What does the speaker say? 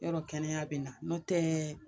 Yɔrɔ kɛnɛya bɛ na n'o tɛ